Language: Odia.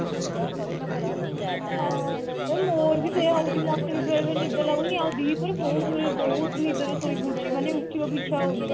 ଅ ଏ ମୋର ବି ସେୟା ହଉଛି ମତେ ବି ବେଳେ ବେଳେ ନିଦ ଲାଗୁନି ଆଉ ଦି ପହରେ ବହତ ନିଦ ବହୁତ ନିଦରେ ଶୋଇ ପଡୁଛି ମାନେ ଉଠିବାକୁ ଇଚ୍ଛା ହଉନି